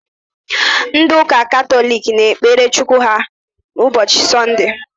Ndị ụka Katọlik na-ekpere Chukwu ha ụbọchị Sọnde